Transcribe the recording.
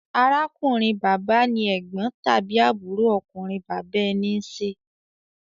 Arákùnrin-bàbá ni ẹ̀gbọ́n tàbí àbúrò ọkùnrin bàbá ẹni ń ṣe.